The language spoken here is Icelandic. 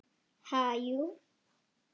Ha, jú.